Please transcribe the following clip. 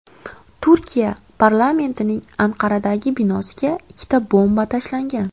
Turkiya parlamentining Anqaradagi binosiga ikkita bomba tashlangan.